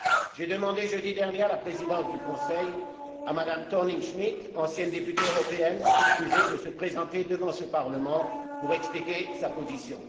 J'ai demandé jeudi dernier à la Présidence du Conseil, à Mme Thorning Schmidt, ancienne députée européenne qui plus est, de se présenter devant ce Parlement pour expliquer sa position.